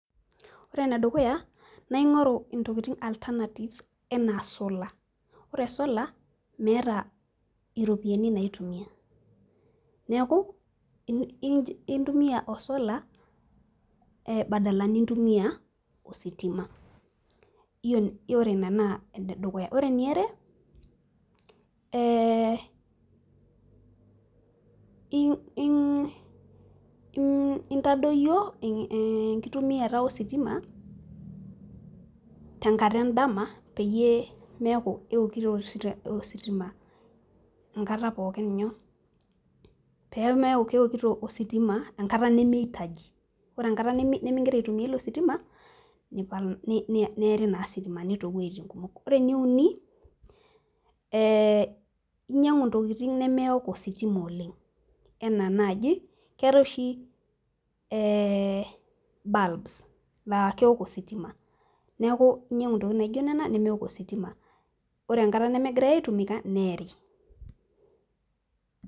ore ene dukuya naa ingoru ntokitin alternatives anaa solar ore solar meeta iropiyiani naitumia, neeku intumia o solar badal nintumia ositima. ore ina naa enedukuya. ore eniare.ee intadoyio enkitumiata ositima tenkata edama peyie meeku keokito ositama. enkata pookin inyoo. peekeku keotikito ositma enkata nimiitaji. ore enkata nimigira aitumia ilo sitima, neeri naa sitimani too wuejitin kumok. ore eneuni, ee inyiang'u ntokitin nemeok ositima oleng. anaa naaji keetae oshi, ee bulbs laa keok ositima. neku inyiang'u ntokitin naijo nena nemeok ositima. ore enkata nemegira aitumika neeri.